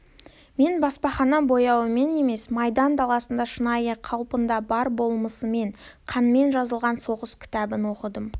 мен баспахана бояуымен емес майдан даласында шынайы қалпында бар болмысымен қанмен жазылған соғыс кітабын оқыдым